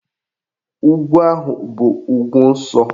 Ugwu ahụ bụ ugwu nsọ